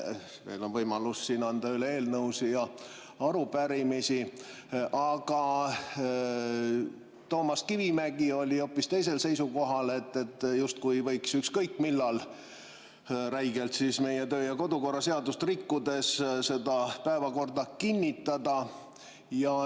Veel on võimalus anda üle eelnõusid ja arupärimisi, aga Toomas Kivimägi oli hoopis teisel seisukohal, justkui võiks ükskõik millal räigelt meie töö‑ ja kodukorra seadust rikkudes seda päevakorda kinnitada.